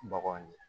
Baganw ye